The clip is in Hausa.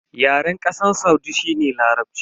Yaren Kasar Saudi shi ne Larabci.